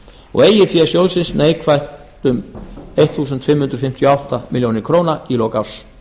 og eigið fé sjóðsins neikvætt um fimmtán hundruð fimmtíu og átta milljónir króna í lok árs